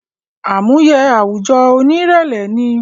Àmúye àwùjọ oní ìrẹlẹ ni